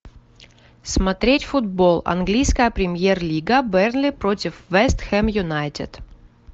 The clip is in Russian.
смотреть футбол английская премьер лига бернли против вест хэм юнайтед